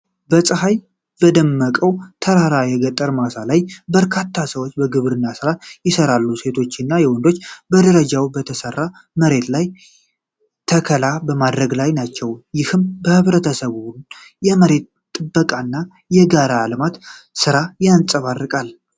በፀሐይ በደመቀው ተራራማ የገጠር ማሳ ላይ፣ በርካታ ሰዎች የግብርና ሥራ ይሰራሉ። ሴቶችና ወንዶች በደረጃ በተሠራ መሬት ላይ ተከላ በማድረግ ላይ ናቸው። ይህም የህብረተሰቡን የመሬት ጥበቃና የጋራ የልማት ሥራ ያንጸባርቃል።